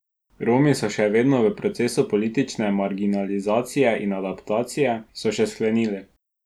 Romi so še vedno v procesu politične marginalizacije in adaptacije, so še sklenili.